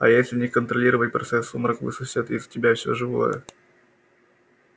а если не контролировать процесс сумрак высосет из тебя все живое